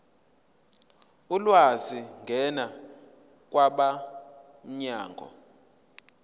ulwazi ngena kwabomnyango